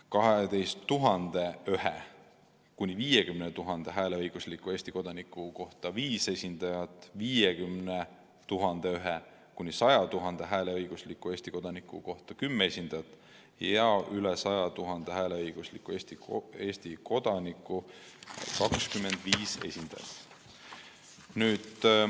12 001 – 50 000 hääleõigusliku Eesti kodaniku kohta viis esindajat, 50 001 – 100 000 hääleõigusliku Eesti kodaniku kohta 10 esindajat ja üle 100 000 hääleõigusliku Eesti kodaniku kohta 25 esindajat.